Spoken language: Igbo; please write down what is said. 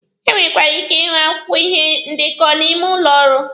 E nwekwara ike ịhụ akwụkwọ ihe ndekọ n'ime ụlọ ọrụ.